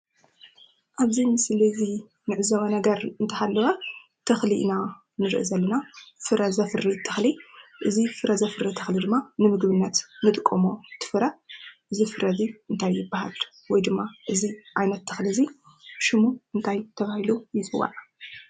አብዚ ምስሊ ዚ እንዕዘቦ ነገር እንተሃለወ ተኽሊ ኢና ንሪኢ ዘለና፡፡ ፍረ ዘፍሪ ተኽሊ፡፡ እዚ ፍረ ዘፍሪ ተኽሊ ድማ ንምግቢነት ንጥቀሞ እቲ ፍረ፡፡ እዚ ፍረ እዚ እንታይ ይበሃል? ወይ ድማ እዚ ዓይነት ተኽሊ እዚ ሹሙ እንታይ ተባሂሉ ይፅዋዕ?